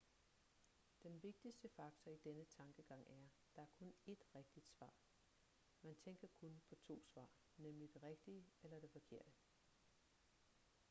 den vigtigste faktor i denne tankegang er der er kun ét rigtigt svar man tænker kun på to svar nemlig det rigtige eller det forkerte